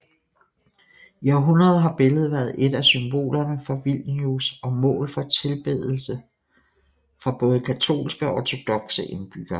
I århundreder har billedet været et af symbolerne for Vilnius og mål for tilbedelse fra både katolske og ortodokse indbyggere